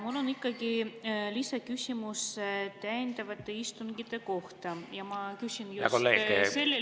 Mul on ikkagi lisaküsimus täiendavate istungite kohta ja ma küsin just sellel istungil …